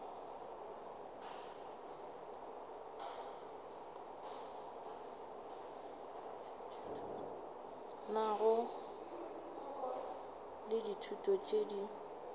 nago le ditulo tše di